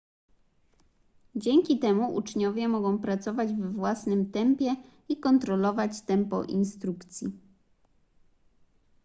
dzięki temu uczniowie mogą pracować we własnym tempie i kontrolować tempo instrukcji